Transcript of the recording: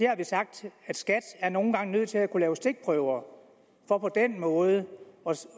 har vi sagt at skat nogle gange er nødt til at kunne lave stikprøver for på den måde